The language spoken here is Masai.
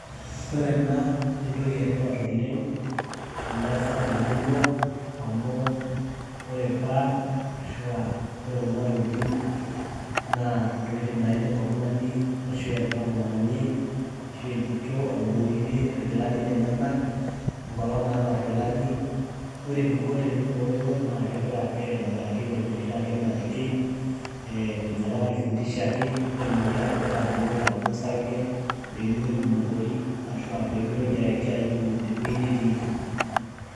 Ore ena, naa entoki etipat oleng',teneesa temurua amu ore pad ashu ore kuna tokiting',naa ntokiting' naidim oltung'ani ashu entomononi, ashu entito aiboorie irkilanu lenyanak, enkolong' naata irkilani. Ore eniko tenibooyo naa, kepik ake aitobiraki fenye oshiake napiki, fenye apa naifundishiaki, petumoki aibooi oladuo sarge pemitoki aibukori, ashua petumoki ayaki aibu tewei netiiki.